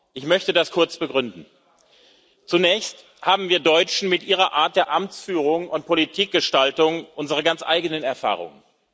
Ich möchte das kurz begründen Zunächst haben wir Deutsche mit Ihrer Art der Amtsführung und Politikgestaltung unsere ganz eigenen Erfahrungen.